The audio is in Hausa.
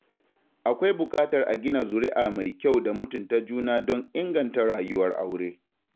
Akwai buƙatar a gina zuria' mai kyau da mutunta juna don inganta rayuwar aure.